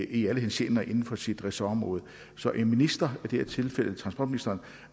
i alle henseender inden for sit ressortområde så en minister og i det her tilfælde transportministeren